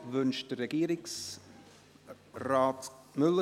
Wünscht Regierungsrat Müller